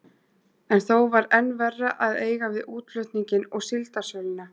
En þó var enn verra að eiga við útflutninginn og síldarsöluna.